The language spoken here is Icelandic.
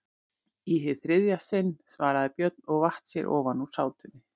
Í hið þriðja sinn, svaraði Björn og vatt sér ofan úr sátunni.